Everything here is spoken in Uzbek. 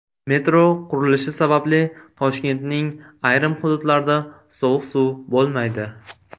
Metro qurilishi sababli Toshkentning ayrim hududlarida sovuq suv bo‘lmaydi.